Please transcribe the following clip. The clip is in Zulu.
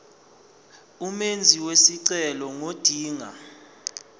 umenzi wesicelo ngodinga